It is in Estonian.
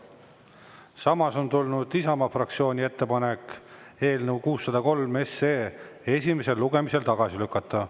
Samas on tulnud Isamaa fraktsiooni ettepanek eelnõu 603 esimesel lugemisel tagasi lükata.